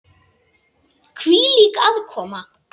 Hvílík aðkoma!